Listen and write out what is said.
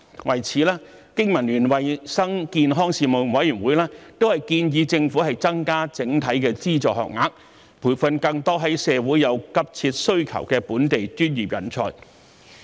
為此，經民聯衞生健康事務委員會建議政府增加整體的資助學額，培訓更多社會有急切需求的本地專業人才。